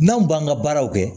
N'an b'an ka baaraw kɛ